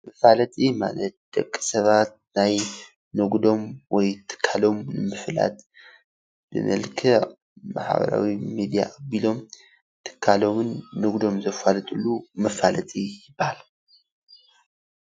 መፋለጢ ማለት ደቂ ሰባት ናይ ንግዶም ወይ ትካሎም ምፍላጥ ብመልክዕ ማሕበራዊ ሚድያ ኣቢሎም ትካሎምን ንግዶም ዘፋልጡሉ መፋለጢ ይበሃል።